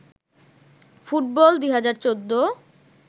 football ২০১৪